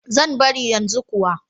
Zan bari yanzu kuwa.